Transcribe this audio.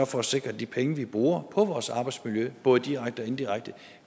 for at sikre at de penge vi bruger på vores arbejdsmiljø både direkte og indirekte